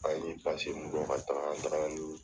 An ye mun bɔ ka taga, an taga ni